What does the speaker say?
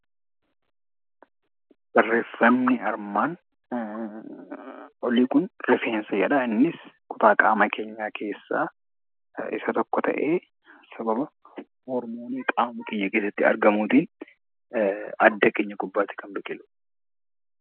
Barreeffamni armaan olii kun rifeensa jedha. Innis kutaa qaama keenyaa keessaa isa tokko ta'ee, sababa hormoonii qaama keenya keessatti argamuutiin adda keenya gubbaatti kan biqiludha.